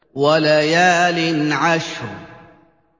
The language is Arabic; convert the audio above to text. وَلَيَالٍ عَشْرٍ